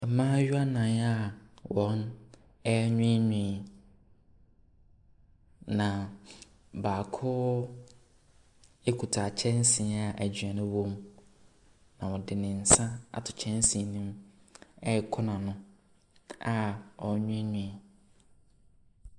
Mmaayewa nan a wɔrewiiwii. Na baako kuta kyɛnse a aduane wɔ mu na ɔde ne nsa ato kyɛnse nim ɛrekɔ nano a ɔrewiwii.